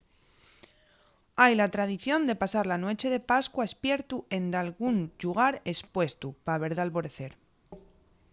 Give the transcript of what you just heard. hai la tradición de pasar la nueche de pascua espiertu en dalgún llugar espuestu pa ver l’alborecer